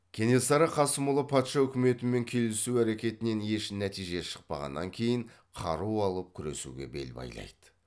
кенесары қасымұлы патша үкіметімен келісу әрекетінен еш нәтиже шықпағаннан кейін қару алып күресуге бел байлайды